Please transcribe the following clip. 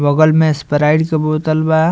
बगल में स्प्राइट के बोतल बा।